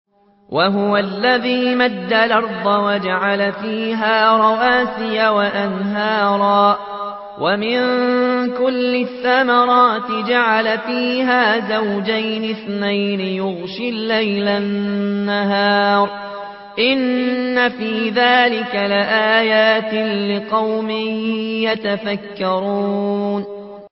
وَهُوَ الَّذِي مَدَّ الْأَرْضَ وَجَعَلَ فِيهَا رَوَاسِيَ وَأَنْهَارًا ۖ وَمِن كُلِّ الثَّمَرَاتِ جَعَلَ فِيهَا زَوْجَيْنِ اثْنَيْنِ ۖ يُغْشِي اللَّيْلَ النَّهَارَ ۚ إِنَّ فِي ذَٰلِكَ لَآيَاتٍ لِّقَوْمٍ يَتَفَكَّرُونَ